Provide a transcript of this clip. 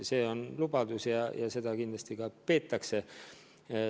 See on lubadus ja seda kindlasti ka peetakse.